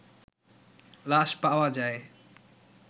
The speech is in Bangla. লাশপাওয়া যায়